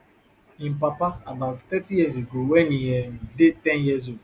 im papa about thirty years ago wen e um dey ten years old